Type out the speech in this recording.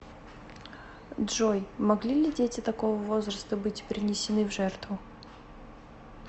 джой могли ли дети такого возраста быть принесены в жертву